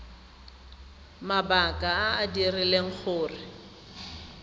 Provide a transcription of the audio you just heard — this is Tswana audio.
mabaka a a dirileng gore